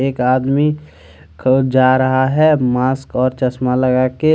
एक आदमी क जा रहा है। मास्क और चस्मा लगा के--